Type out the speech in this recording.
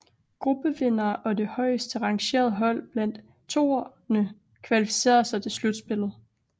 Gruppevinderne og det højest rangerede hold blandt toerne kvalificerede sig til slutspillet